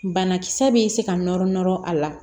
Banakisɛ bɛ se ka nɔrɔ nɔrɔ a la